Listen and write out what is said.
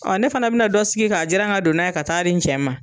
Ɔ ne fana bena dɔ sigi k'a jira ka don n'a ye ka taa di n cɛ ma